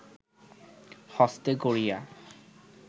হস্তে করিয়া